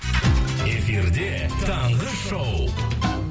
эфирде таңғы шоу